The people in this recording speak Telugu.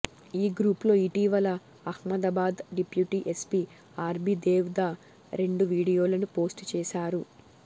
ఈ గ్రూప్ లో ఇటీవల Ahmedabad deputy SP RB Devda రెండు వీడియోలను పోస్టు చేశారు